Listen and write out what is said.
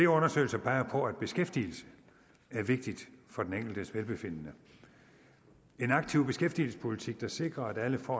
undersøgelser peger på at beskæftigelse er vigtig for den enkeltes velbefindende en aktiv beskæftigelsespolitik der sikrer at alle får